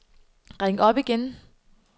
ring op igen